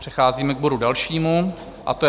Přecházíme k bodu dalšímu a to je